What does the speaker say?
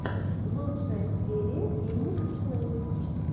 лучшая серия феникс плэй